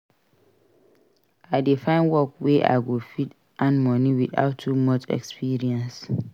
I dey find work wey I go fit earn money witout too much experience.